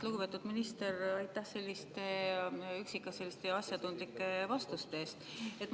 Lugupeetud minister, aitäh selliste üksikasjalike ja asjatundlike vastuste eest!